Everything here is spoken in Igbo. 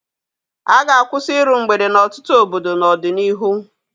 A ga-akwụsị iru mgbede n'ọtụtụ obodo n'ọdịnihu.